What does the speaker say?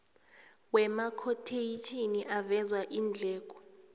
wamakhotheyitjhini aveza iindleko